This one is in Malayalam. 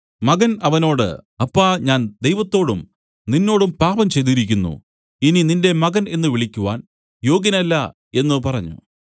മകൻ അവനോട് അപ്പാ ഞാൻ ദൈവത്തോടും നിന്നോടും പാപം ചെയ്തിരിക്കുന്നു ഇനി നിന്റെ മകൻ എന്നു വിളിക്കുവാൻ യോഗ്യനല്ല എന്നു പറഞ്ഞു